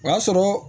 O y'a sɔrɔ